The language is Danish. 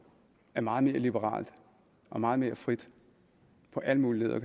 er meget mere liberalt og meget mere frit på alle mulige leder